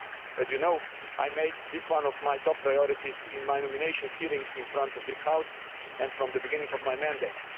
As you know, I made this one of my top priorities in my nomination hearing before this House and from the beginning of my mandate.